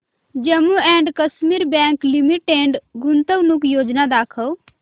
Jammu and Kashmir bank limited गुंतवणूक योजना दाखव